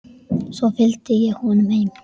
Svo fylgdi ég honum heim.